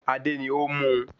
Adé ni ó mú un